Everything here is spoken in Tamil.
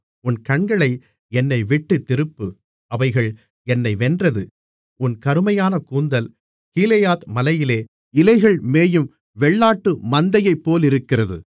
உன் கண்களை என்னைவிட்டுத் திருப்பு அவைகள் என்னை வென்றது உன் கருமையான கூந்தல் கீலேயாத் மலையிலே இலைகள்மேயும் வெள்ளாட்டு மந்தையைப்போலிருக்கிறது